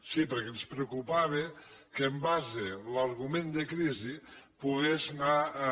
sí perquè ens preocupava que en base l’argument de crisi pogués anar a